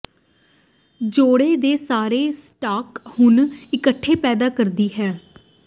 ਜੋੜੇ ਦੇ ਸਾਰੇ ਸਟਾਕ ਹੁਣ ਇਕੱਠੇ ਪੈਦਾ ਕਰਦੀ ਹੈ